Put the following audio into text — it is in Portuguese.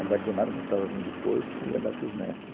Gemada, botava vinho do porto e ia dar para os netos.